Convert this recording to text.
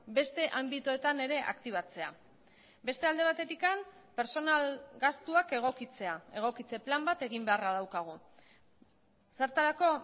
beste anbitoetan ere aktibatzea beste alde batetik pertsonal gastuak egokitzea egokitze plan bat egin beharra daukagu zertarako